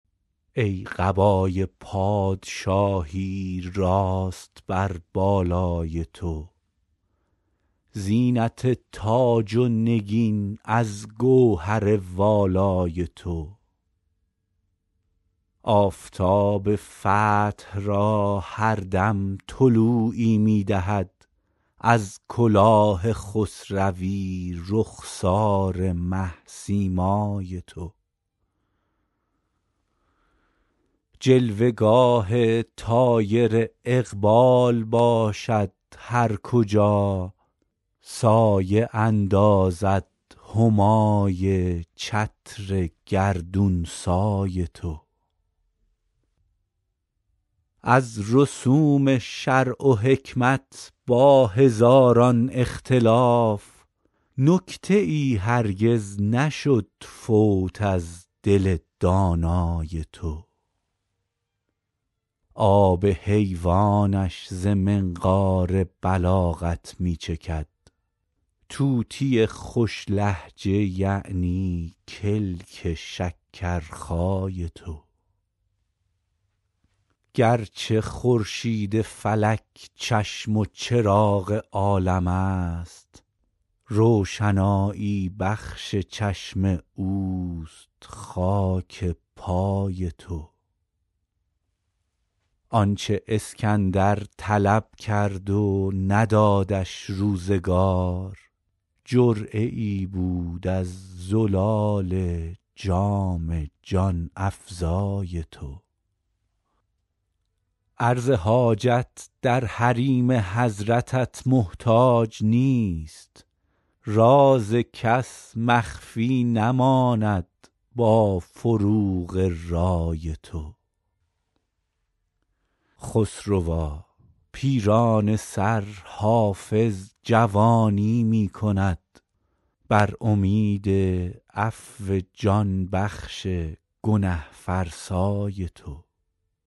ای قبای پادشاهی راست بر بالای تو زینت تاج و نگین از گوهر والای تو آفتاب فتح را هر دم طلوعی می دهد از کلاه خسروی رخسار مه سیمای تو جلوه گاه طایر اقبال باشد هر کجا سایه اندازد همای چتر گردون سای تو از رسوم شرع و حکمت با هزاران اختلاف نکته ای هرگز نشد فوت از دل دانای تو آب حیوانش ز منقار بلاغت می چکد طوطی خوش لهجه یعنی کلک شکرخای تو گرچه خورشید فلک چشم و چراغ عالم است روشنایی بخش چشم اوست خاک پای تو آن چه اسکندر طلب کرد و ندادش روزگار جرعه ای بود از زلال جام جان افزای تو عرض حاجت در حریم حضرتت محتاج نیست راز کس مخفی نماند با فروغ رای تو خسروا پیرانه سر حافظ جوانی می کند بر امید عفو جان بخش گنه فرسای تو